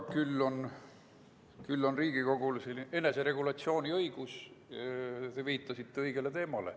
Küll aga on Riigikogul eneseregulatsiooni õigus, te viitasite õigele teemale.